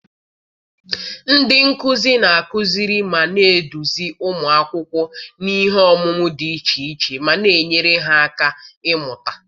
Ndị nkuzi na-akụziri ma na-eduzi ụmụ akwụkwọ n'ihe ọmụmụ dị iche iche ma na-enyere ha aka ịmụta.